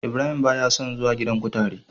Ibrahim ba ya son zuwa gidan kutare.